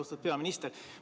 Austatud peaminister!